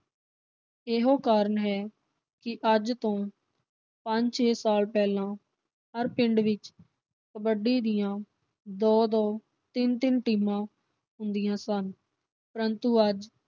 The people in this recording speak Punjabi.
ਇਹੋ ਕਾਰਨ ਹੈ ਕਿ ਅੱਜ ਤੋਂ ਪੰਜ ਛੇ ਸਾਲ ਪਹਿਲਾਂ ਹਰ ਪਿੰਡ ਵਿਚ ਕਬੱਡੀ ਦੀਆਂ ਦੋ-ਦੋ ਤਿੰਨ-ਤਿੰਨ ਟੀਮਾਂ ਹੁੰਦੀਆਂ ਸਨ ਪਰੰਤੂ ਅੱਜ